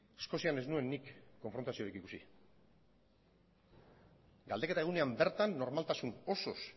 eskozian ez nuen nik konfrontaziorik ikusi galdeketa egunean bertan normaltasun osoz